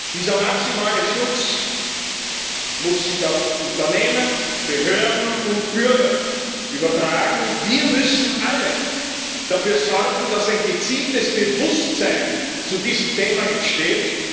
Dieser maximale Schutz muss sich auf Unternehmen, Behörden und Bürger übertragen, und wir müssen alle dafür sorgen, dass ein gezieltes Bewusstsein zu diesem Thema entsteht.